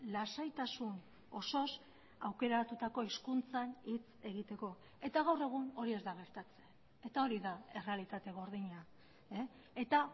lasaitasun osoz aukeratutako hizkuntzan hitz egiteko eta gaur egun hori ez da gertatzen eta hori da errealitate gordina eta